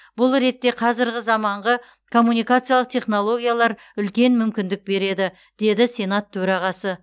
бұл ретте қазіргі заманғы коммункациялық технологиялар үлкен мүмкіндік береді деді сенат төрағасы